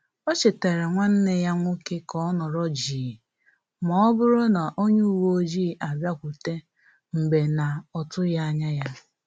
O chetara nwanneya nwoke ka ọ nọrọ jii ma ọ bụrụ na onye uwe ọjị abịakwute mgbe na-otughi anya ya